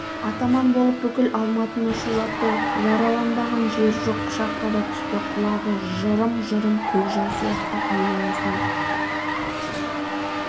атаман болып бүкіл алматыны шулатты жараланбаған жер жоқ пышаққа да түсті құлағы жырым-жырым көкжал сияқты айналасын